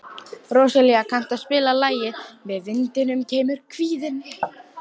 Róselía, kanntu að spila lagið „Með vindinum kemur kvíðinn“?